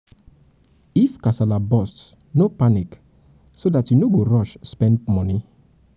if kasala burst no panic so dat you no go rush go rush spend money